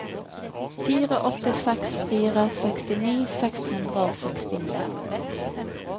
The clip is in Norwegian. fire åtte seks fire sekstini seks hundre og sekstini